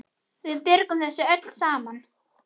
Við björgum þessu öllu saman.